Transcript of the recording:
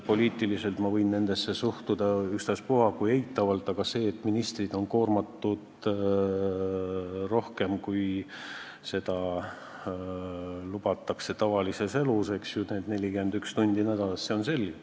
Poliitiliselt ma võin nendesse suhtuda ükstaspuha kui eitavalt, aga see, et ministrid on koormatud rohkem, kui see on lubatud tavalises elus – 41 tundi nädalas –, see on selge.